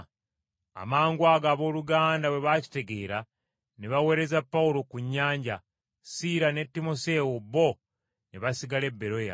Amangwago abooluganda bwe bakitegeera ne baweereza Pawulo ku nnyanja, Siira ne Timoseewo bo ne basigala e Beroya.